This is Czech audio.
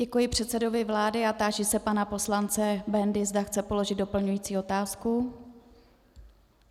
Děkuji předsedovi vlády a táži se pana poslance Bendy, zda chce položit doplňující otázku.